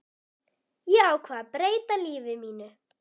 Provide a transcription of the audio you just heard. Ég ákvað að breyta lífi mínu.